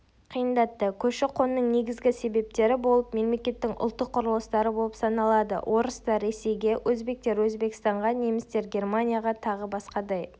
қиындатты көші-қонның негізгі себептері болып мемлекеттің ұлттық құрылыстары болып саналады орыстар-ресейге өзбектер-өзбекстанға немістер-германияға тағы басқадай